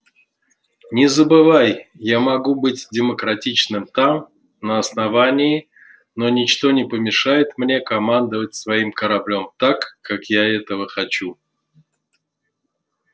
не забывай я могу быть демократичным там на основании но ничто не помешает мне командовать своим кораблём так как я этого хочу